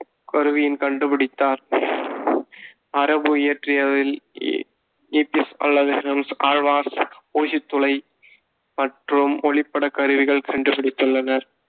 கருவியின் கண்டுபிடித்தார். அரபு இயற்றியாவில் ஊசித் துளை மற்றும் ஒளிப்படக் கருவிகள் கண்டுபிடித்துள்ளனர்